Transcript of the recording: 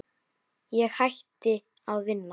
Ég hætti að vinna í